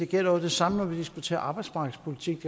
gælder det samme når vi diskuterer arbejdsmarkedspolitik